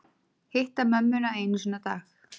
Hitta mömmuna einu sinni á dag